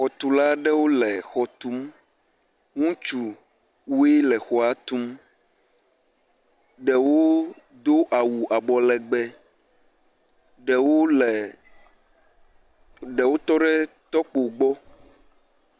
Xɔtula aɖewo le xɔ tum. Ŋutsuwoe le xɔa tum. Ɖewo do awu abɔlegbe, ɖewo le ɖewo tɔ ɖe tɔkpo gbɔ.